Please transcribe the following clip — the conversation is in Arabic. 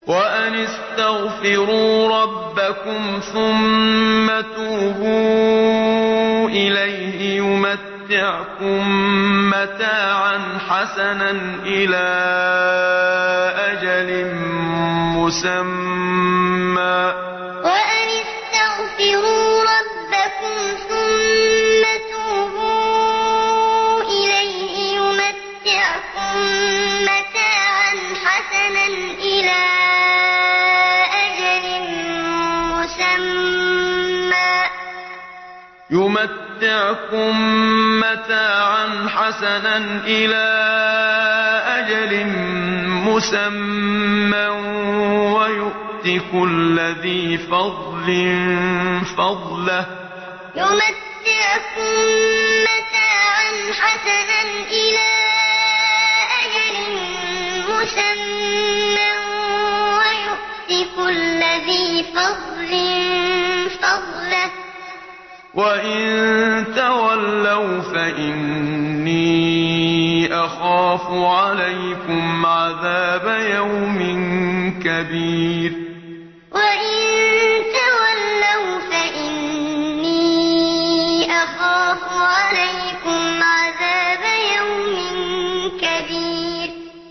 وَأَنِ اسْتَغْفِرُوا رَبَّكُمْ ثُمَّ تُوبُوا إِلَيْهِ يُمَتِّعْكُم مَّتَاعًا حَسَنًا إِلَىٰ أَجَلٍ مُّسَمًّى وَيُؤْتِ كُلَّ ذِي فَضْلٍ فَضْلَهُ ۖ وَإِن تَوَلَّوْا فَإِنِّي أَخَافُ عَلَيْكُمْ عَذَابَ يَوْمٍ كَبِيرٍ وَأَنِ اسْتَغْفِرُوا رَبَّكُمْ ثُمَّ تُوبُوا إِلَيْهِ يُمَتِّعْكُم مَّتَاعًا حَسَنًا إِلَىٰ أَجَلٍ مُّسَمًّى وَيُؤْتِ كُلَّ ذِي فَضْلٍ فَضْلَهُ ۖ وَإِن تَوَلَّوْا فَإِنِّي أَخَافُ عَلَيْكُمْ عَذَابَ يَوْمٍ كَبِيرٍ